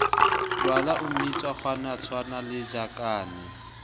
jwala o mmitsa kgowanatshwana lejakane